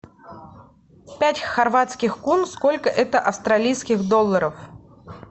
пять хорватских кун сколько это австралийских долларов